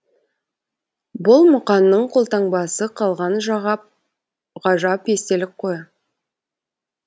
бұл мұқаңның қолтаңбасы қалған ғажап естелік қой